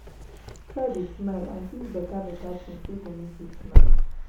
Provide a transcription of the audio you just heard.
try dey smile and tink beta-beta tins wey go mek yu smile